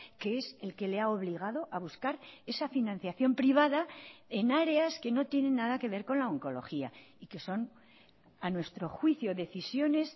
que es el que le ha obligado a buscar esa financiación privada en áreas que no tienen nada que ver con la oncología y que son a nuestro juicio decisiones